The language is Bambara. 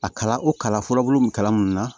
A kala o kalan fɔlɔ min kalannun na